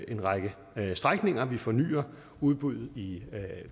en række strækninger vi fornyer udbuddet i